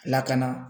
Lakana